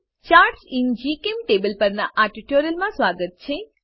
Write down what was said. charts in GChemTable પરનાં આ ટ્યુટોરીયલમાં સ્વાગત છે